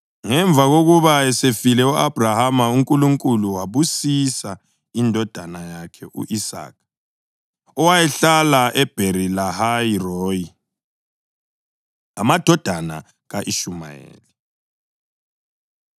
Ngemva kokuba esefile u-Abhrahama uNkulunkulu wayibusisa indodana yakhe u-Isaka, owayehlala eBheri-Lahayi-Royi. Amadodana Ka-Ishumayeli